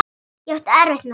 Ég átti erfitt með það.